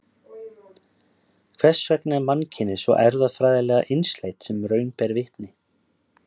hvers vegna er mannkynið svo erfðafræðilega einsleitt sem raun ber vitni